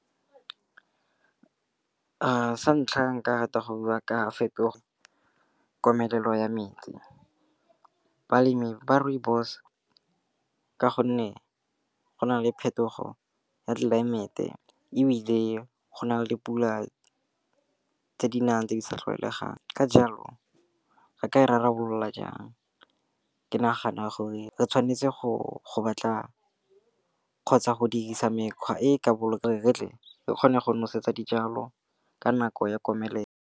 Sa ntlha nka rata go buiwa ka fetoga komelelo ya metsi. Balemi ba rooibos ka gonne go na le phetogo ya tlelaemete ebile go na le pula tse di nang tse di sa tlwaelegang. Ka jalo re ka e rarabolola jang? Ke nagana gore re tshwanetse go batla kgotsa go dirisa mekgwa e e ka boloka, re tle re kgone go nosetsa dijalo ka nako ya komelelo.